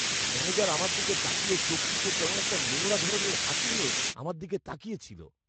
Manager আমার দিকে তাকিয়ে চোখ টিপে কেমন একটা নোংরা ধরনের হাসি নিয়ে আমার দিকে তাকিয়ে ছিল।